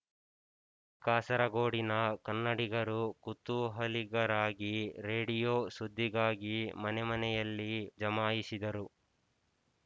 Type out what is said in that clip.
ಕಾಸರಗೋಡಿನ ಕನ್ನಡಿಗರು ಕುತೂಹಲಿಗರಾಗಿ ರೇಡಿಯೋ ಸುದ್ದಿಗಾಗಿ ಮನೆಮನೆಯಲ್ಲಿ ಜಮಾಯಿಸಿದರು